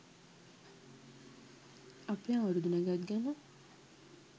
අපේ අවුරුදු නැකත් ගැන